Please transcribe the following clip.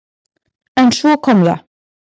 En svo kom það!